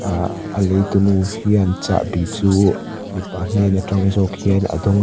aaa a leitu nu hian chahbi chu mipa hnen atang zawk hian a dawng a.